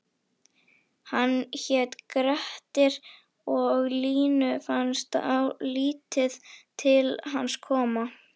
Hann hét Grettir og Línu fannst lítið til hans koma: